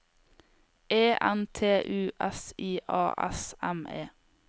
E N T U S I A S M E